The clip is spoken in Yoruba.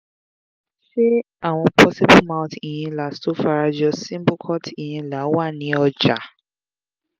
ṣé àwọn portable mouth inhalers tó fara jọ symbocort inhaler wà ni ọjà?